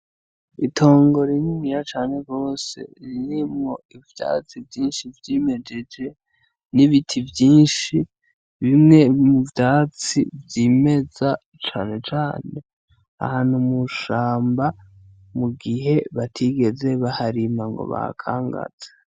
Itongo rininiya cane gose, ririmwo ivyatsi vyinshi vyimejeje, n'ibiti vyinshi, bimwe n'ivyatsi vyimeza cane cane ahantu mu shamba mugihe batigeze baharima ngo bahakangaze.